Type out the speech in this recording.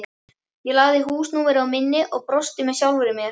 Ég lagði húsnúmerið á minnið og brosti með sjálfri mér.